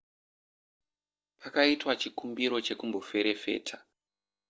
pakaitwa chikumbiro chekumboferefeta